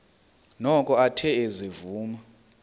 noko athe ezivuma